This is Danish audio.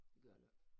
Det gør jeg heller ikke